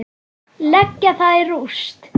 Leggja það í rúst!